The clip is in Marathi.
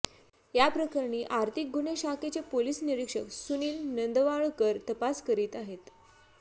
याप्रकरणी आर्थिक गुन्हे शाखेचे पोलीस निरीक्षक सुनील नंदवाळकर तपास करीत आहेत